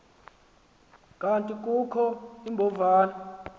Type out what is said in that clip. kanti kukho iimbovane